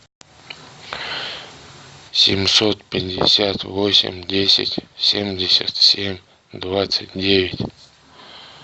семьсот пятьдесят восемь десять семьдесят семь двадцать девять